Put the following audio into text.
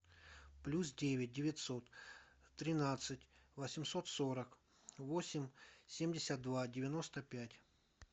плюс девять девятьсот тринадцать восемьсот сорок восемь семьдесят два девяносто пять